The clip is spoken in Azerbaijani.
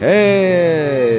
Hey!